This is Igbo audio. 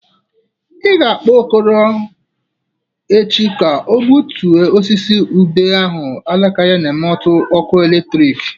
Ị ga-akpọ Okoro echi ka o butue osisi ube ahụ alaka ya na-emetu waya ọkụ eletriki.